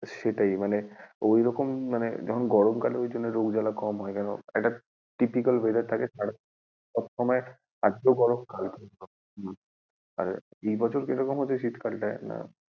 সেটাই মানে ওইরকম মানে, এখন গরমকালে ওইজন্য রোগ জালা কম হয় কেন একটা typical weather থাকে সবসময় আজকেও গরম কালকেও গরম আর এই বছর কীরকম হচ্ছে শীতকাল টায় না,